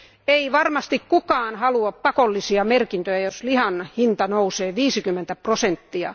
Ei varmasti kukaan halua pakollisia merkintöjä, jos lihan hinta nousee 50 prosenttia.